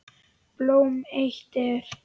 Blóm eitt er.